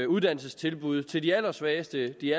uddannelsestilbuddene til de allersvageste de